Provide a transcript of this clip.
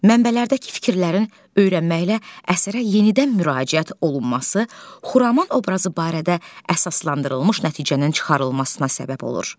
Mənbələrdəki fikirlərin öyrənməklə əsərə yenidən müraciət olunması Xuraman obrazı barədə əsaslandırılmış nəticənin çıxarılmasına səbəb olur.